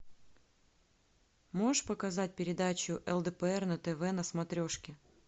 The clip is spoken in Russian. можешь показать передачу лдпр на тв на смотрешке